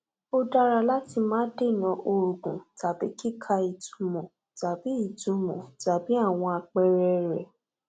ó dára láti má dènà òògùn tàbí kíkà ìtumọ tàbí ìtumọ tàbí àwọn àpẹẹrẹ rẹ